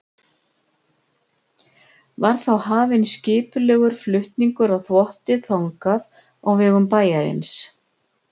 Var þá hafinn skipulegur flutningur á þvotti þangað á vegum bæjarins.